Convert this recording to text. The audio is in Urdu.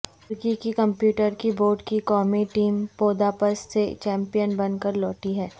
ترکی کی کمپیوٹر کی بورڈ کی قومی ٹیم بوداپست سے چیمپئن بن کر لوٹی ہے